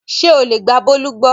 Ṣé o lè gba Bólú gbọ́?